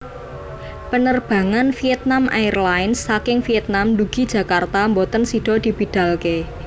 Penerbangan Vietnam Airlines saking Vietnam ndugi Jakarta mboten sido dibidalke